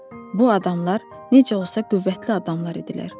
Bu adamlar necə olsa qüvvətli adamlar idilər.